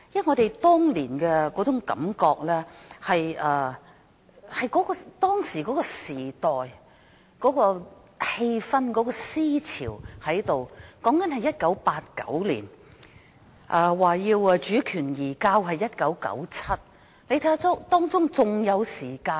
我們當年的感覺是基於當時的時代氣氛和思潮，當時是1989年，而主權移交是1997年，仍有一段時間。